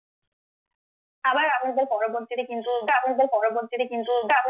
আবার আমাদের পরবর্তীতে কিন্তু পরবর্তীতে কিন্তু